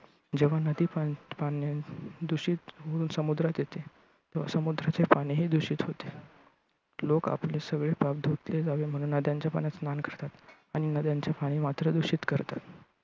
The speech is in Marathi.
जेव्हा नदी पण पाण्यानं दूषित होऊन समुद्रात येते, तेव्हा समुद्राचे पाणीही दूषित होते. लोक आपले सगळे पाप धुतले जावे म्हणून नद्यांच्या पाण्यात स्नान करतात आणि नद्यांचे पाणी मात्र दूषित करतात.